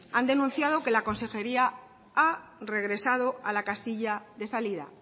han denunciado que la consejería ha regresado a la casilla de salida